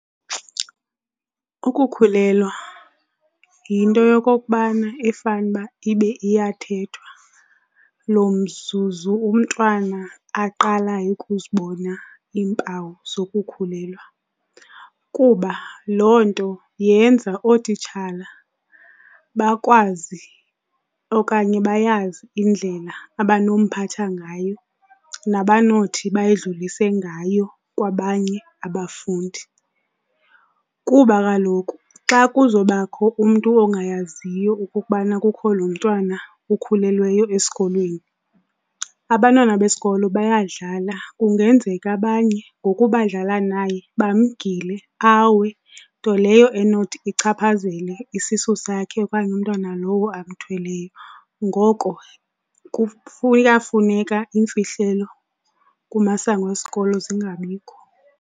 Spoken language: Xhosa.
Ukukhulelwa yinto yokokubana efanuba ibe iyathethwa lo mzuzu umntwana aqalayo ukuzibona iimpawu zokukhulelwa kuba loo nto yenza ootitshala bakwazi okanye bayazi indlela abanomphatha ngayo nabanothi bayidlulise ngayo kwabanye abafundi. Kuba kaloku xa kuzobakho umntu ongayaziyo okokubana kukho lo mntwana ukhulelweyo esikolweni, abantwana besikolo bayadlala, kungenzeka abanye ngoku badlala naye bamgile awe, nto leyo enothi ichaphazele isisu sakhe okanye umntwana lowo amthweleyo. Ngoko kuyafuneka iimfihlelo kumasango esikolo zingabikho.